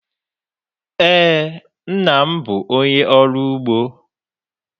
Eé, nna m bụ onye ọrụ ugbo.